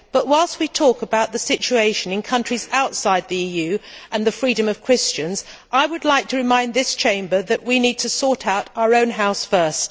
So, as we talk about the situation in countries outside the EU, and about the freedom of Christians, I would like to remind this Chamber that we need to sort out our own house first.